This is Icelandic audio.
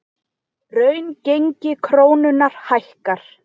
Raungengi krónunnar hækkar